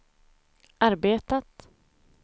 arbetat